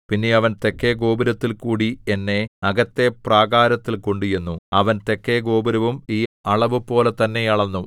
പിന്നെ അവൻ തെക്കെ ഗോപുരത്തിൽകൂടി എന്നെ അകത്തെ പ്രാകാരത്തിൽ കൊണ്ടുചെന്നു അവൻ തെക്കെ ഗോപുരവും ഈ അളവുപോലെ തന്നെ അളന്നു